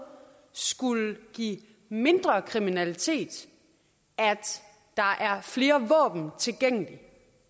skulle give mindre kriminalitet at der er flere våben tilgængelige